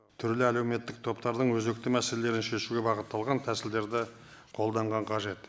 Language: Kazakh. түрлі әлеуметтік топтардың өзекті мәселелерін шешуге бағытталған тәсілдерді қолданған қажет